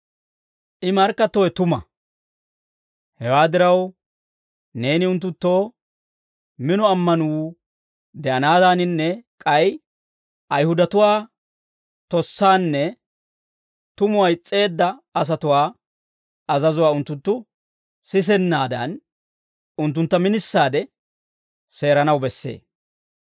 I markkattowe tuma; hewaa diraw, neeni unttunttoo mino ammanuu de'anaadaaninne k'ay Ayihudatuwaa tossaanne tumuwaa is's'eedda asatuwaa azazuwaa unttunttu sisennaadan, unttuntta minisaade seeranaw bessee.